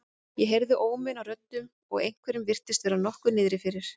Ég heyrði óminn af röddum og einhverjum virtist vera nokkuð niðri fyrir.